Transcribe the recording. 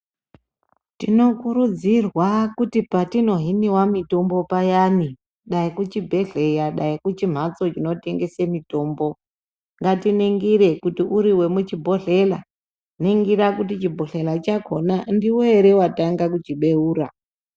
Tinokurudzirwa kuti patinohiniwa mitombo payani dai kuchibhedhleya dai kuchimhatso chinotengese mitombo ngatiningire kuti uri wemuchibhodhlera ningira kuti chibhodhlera chakona ndiwe ere watanga kuchibeura.